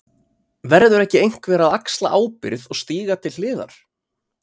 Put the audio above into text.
Verður ekki einhver að axla ábyrgð og stíga til hliðar!?